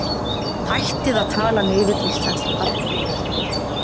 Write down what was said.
Hættið að tala niður íslenskt atvinnulíf